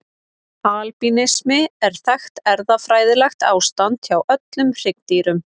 Albínismi er þekkt erfðafræðilegt ástand hjá öllum hryggdýrum.